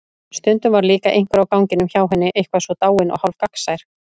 Stundum var líka einhver á ganginum hjá henni eitthvað svo dáinn og hálfgagnsær.